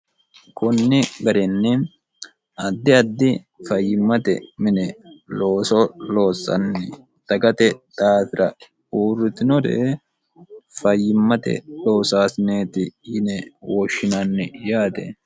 konni garinni addi addi fayyimmate mine looso loossanni dagate daafira uurritinore fayyimmate loosaasineeti yine wooshshinanni yaate